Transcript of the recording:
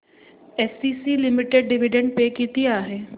ACC limited dividend पे किती आहे